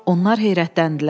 Onlar heyrətləndilər.